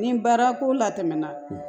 Nin baara ko la tɛmɛna